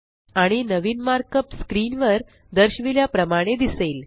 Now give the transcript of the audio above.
आणि नवीन markup screen वर दर्शविल्या प्रमाणे दिसेल